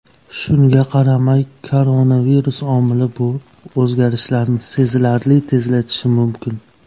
Shunga qaramay, koronavirus omili bu o‘zgarishlarni sezilarli tezlatishi mumkin.